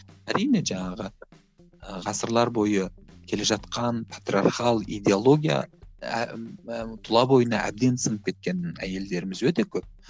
әрине жаңағы ыыы ғасырлар бойы келе жатқан патриархал идеология тұла бойына әбден сіңіп кеткен әйелдеріміз өте көп